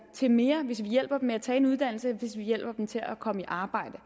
til mere hvis vi hjælper dem med at tage en uddannelse hvis vi hjælper dem til at komme i arbejde